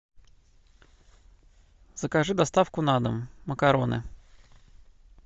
закажи доставку на дом макароны